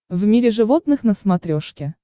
в мире животных на смотрешке